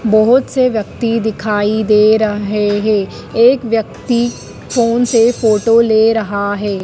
बहोत से व्यक्ति दिखाई दे रहे है एक व्यक्ति फोन से फोटो ले रहा है।